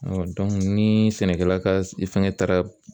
ni sɛnɛkɛla ka fɛngɛ taara